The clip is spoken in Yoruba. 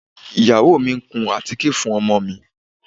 Ìyàwó mi ń kun àtíkè fún ọmọ mi